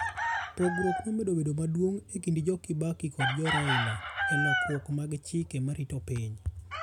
Pogruok nomedo bedo maduong e kind joKibaki kod joRaila e lokruok mag chike morito piny.